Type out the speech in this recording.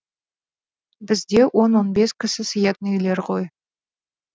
бізде он он бес кісі сыятын үйлер ғой